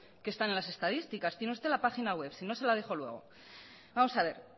que están en las estadísticas tiene usted la página web si no se la dejo luego vamos a ver